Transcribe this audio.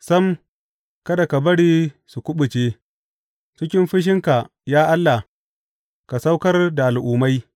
Sam, kada ka bari su kuɓuce; cikin fushinka, ya Allah, ka saukar da al’ummai.